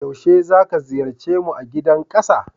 Yaushe zaka ziyarce su a Gidan Kasa?